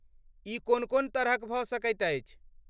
ई कोन कोन तरहक भऽ सकैत अछि?